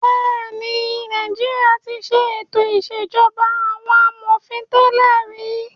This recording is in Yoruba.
Bẹ́ẹ̀ ni, Nàìjíríà ti ṣe ètò ìṣèjọba àwọn amòfin tẹ́lẹ̀ rí.